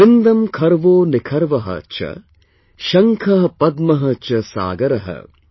वृन्दं खर्वो निखर्व च, शंख पद्म च सागर |